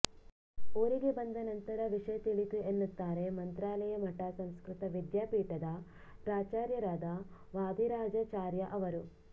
ಊರಿಗೆ ಬಂದ ನಂತರ ವಿಷಯ ತಿಳಿಯಿತು ಎನ್ನುತ್ತಾರೆ ಮಂತ್ರಾಲಯ ಮಠ ಸಂಸ್ಕೃತ ವಿದ್ಯಾಪೀಠದ ಪ್ರಾಚಾರ್ಯರಾದ ವಾದಿರಾಜಾಚಾರ್ಯ ಅವರು